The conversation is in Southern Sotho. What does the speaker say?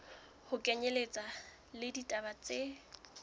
ho kenyelletswa le ditaba tse